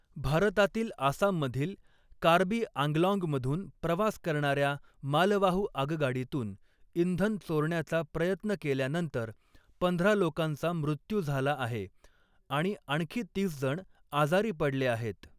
भारतातील आसाममधील कार्बी आंग्लॉन्गमधून प्रवास करणाऱ्या मालवाहू आगगाडीतून इंधन चोरण्याचा प्रयत्न केल्यानंतर, पंधरा लोकांचा मृत्यू झाला आहे आणि आणखी तीस जण आजारी पडले आहेत.